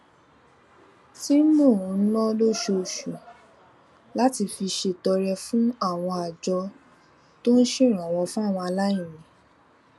tí mò ń ná lóṣooṣù láti fi ṣètọrẹ fún àwọn àjọ tó ń ṣèrànwó fáwọn aláìní